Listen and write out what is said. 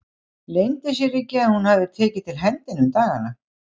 Leyndi sér ekki að hún hafði tekið til hendi um dagana.